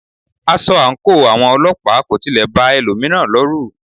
Aṣọ àńkò àwọn ọlọ́pàá kò tilẹ̀ ba ẹlòmíràn lọrù.